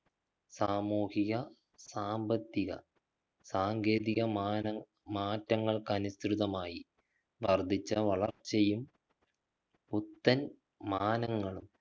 സാമൂഹിക സാമ്പത്തിക സാങ്കേതിക മാനങ്ങ മാറ്റങ്ങൾക്കനുസൃതമായി വർധിച്ച വളർച്ചയും പുത്തൻ മാനങ്ങളും